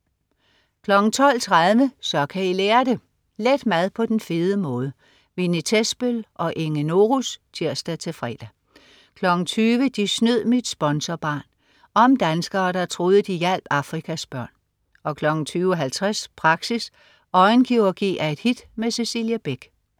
12.30 Så kan I lære det! let mad på den fede måde! Winnie Thesbøl og Inge Norus (tirs-fre) 20.00 De snød mit sponsorbarn. Om danskere der troede, de hjalp Afrikas børn 20.50 Praxis. Ørenkirurgi er et hit. Cecilie Beck